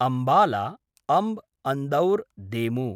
Ambala Andaur देमु